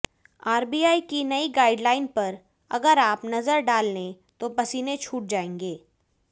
RBI की नई guideline पर अगर आप नजर डाल लें तो पसीने छूट जाएंगे